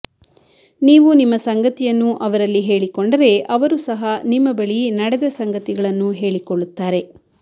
ನೀವು ನಿಮ್ಮ ಸಂಗತಿಯನ್ನು ಅವರಲ್ಲಿ ಹೇಳಿಕೊಂಡರೆ ಅವರು ಸಹ ನಿಮ್ಮ ಬಳಿ ನಡೆದ ಸಂಗತಿಗಳನ್ನು ಹೇಳಿಕೊಳ್ಳುತ್ತಾರೆ